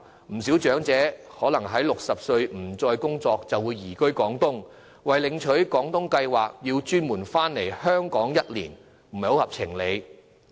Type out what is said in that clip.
不少長者年滿60歲後可能已經不再工作，移居廣東，為領取廣東計劃下的津貼而專程回港居住1年，實在不合情理。